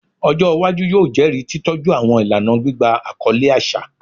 Ọjọ iwaju yoo jẹri titọju awọn ilana gbigba akọle aṣa